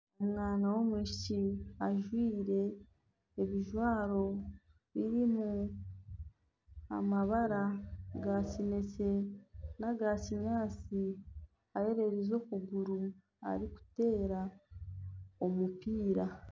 Omwana w'omwishiki ajwire ebijwaro birimu amabara ga kinekye naga kinyaatsi, eyererize okuguru arikuteera omupiira